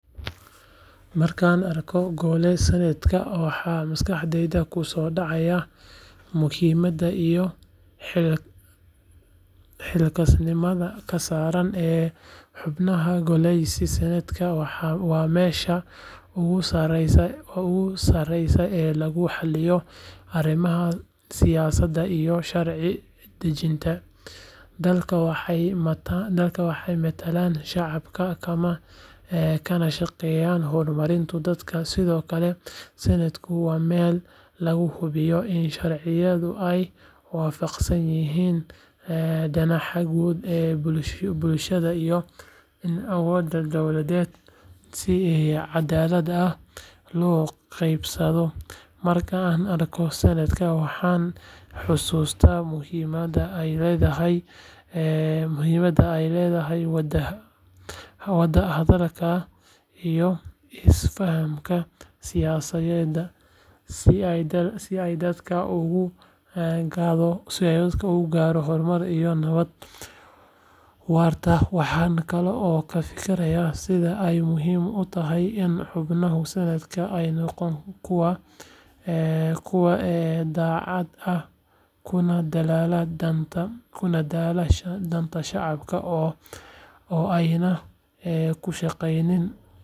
Markaan arko gole senetka waxa maskaxdayda ku soo dhacaya muhiimadda iyo xilkasnimada ka saaran xubnaha goleyaas senetka waa meesha ugu sareysa ee lagu xalliyo arrimaha siyaasadda iyo sharci dejinta dalka waxay matalaan shacabka kana shaqeeyaan horumarinta dalka sidoo kale senetku waa meel lagu hubiyo in sharciyada ay waafaqsan yihiin danaha guud ee bulshada iyo in awoodda dowladda si cadaalad ah loo qeybsado marka aan arko senetka waxaan xusuustaa muhiimada ay leedahay wada hadalka iyo isfahamka siyaasadeed si dalka uu u gaadho horumar iyo nabad waarta waxaan kaloo ka fikiraa sida ay muhiim u tahay in xubnaha senetka ay noqdaan kuwo daacad ah kuna dadaala danta shacabka oo aanay ku shaqeynin.